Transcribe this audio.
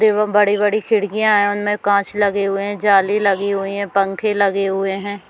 एवं बड़ी- बड़ी खिड़कियाँ है उनमे काँच लगे हुए है जाली लगी हुई है पंखे लगे हुए है।